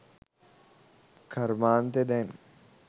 කරුමාන්තේ දැන්.